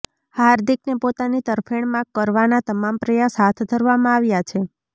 હાર્દિકને પોતાની તરફેણમાં કરવાના તમામ પ્રયાસ હાથ ધરવામાં આવ્યા છે